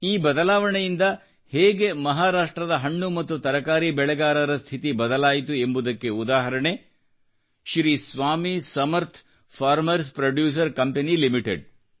ಈ ಬದಲಾವಣೆಯಿಂದ ಹೇಗೆ ಮಹಾರಾಷ್ಟ್ರದ ಹಣ್ಣು ಮತ್ತು ತರಕಾರಿ ಬೆಳೆಗಾರರ ಸ್ಥಿತಿ ಬದಲಾಯಿತು ಎಂಬುದಕ್ಕೆ ಉದಾಹರಣೆ Shri Swami Samarth farmers producer company limited